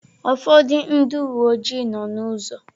Ụfọdụ ndị uwe ojii nọ n'ụzọ.